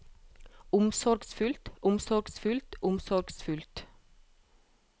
omsorgsfullt omsorgsfullt omsorgsfullt